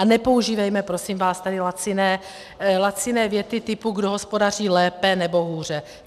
A nepoužívejme prosím vás tady laciné věty typu, kdo hospodaří lépe nebo hůře.